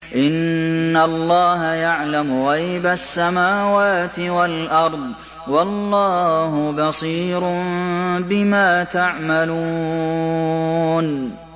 إِنَّ اللَّهَ يَعْلَمُ غَيْبَ السَّمَاوَاتِ وَالْأَرْضِ ۚ وَاللَّهُ بَصِيرٌ بِمَا تَعْمَلُونَ